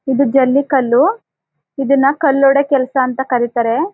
ಇದು ಜಲ್ಲಿಕಲ್ಲು ಇದನ್ನ ಕಲ್ಲು ಹೊಡೆಯೋ ಕೆಲಸ ಅಂತ ಕರೀತಾರೆ--